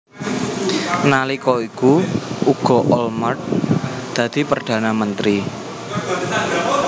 Nalika iku uga Olmert dadi Perdana Menteri